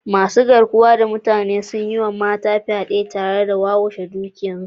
masu garkuwa da mutane sun yi wa mata fyade tare da wawashe dukiyoyinsu